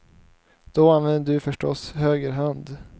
Då använder du förstås höger hand.